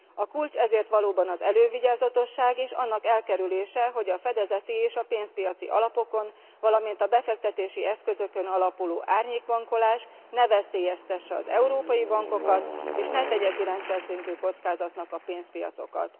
A kulcs ezért valóban az elővigyázatosság, és annak elkerülése, hogy a fedezeti és a pénzpiaci alapokon, valamint a befektetési eszközökön alapuló árnyékbankolás ne veszélyeztesse az európai bankokat, és ne tegye ki rendszerszintű kockázatnak a pénzpiacokat.